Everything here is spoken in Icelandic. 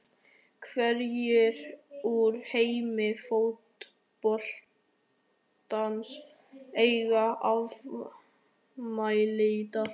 Hverjir úr heimi fótboltans eiga afmæli í dag?